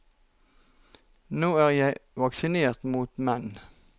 Nå er jeg vaksinert mot menn.